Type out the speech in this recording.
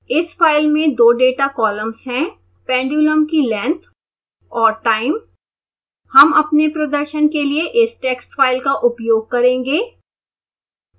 इस फाइल में 2 data columns हैं pendulum की length और time